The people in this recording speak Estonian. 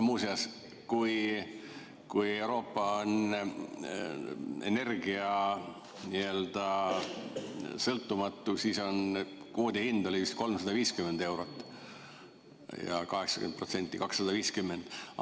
Muuseas, kui Euroopa on nii-öelda energiasõltumatu, siis kvoodi hind on vist 350 eurot ja 80% 250.